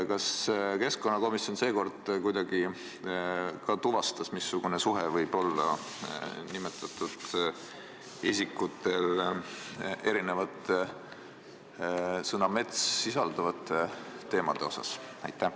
Kas keskkonnakomisjon seekord kuidagi tuvastas, missugune kokkupuude on nimetatud isikutel sõnaga "mets" seostuvate teemadega?